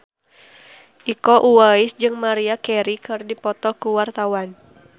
Iko Uwais jeung Maria Carey keur dipoto ku wartawan